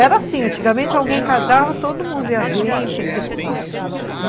Era assim, antigamente alguém casava, todo mundo ia ver, entendeu?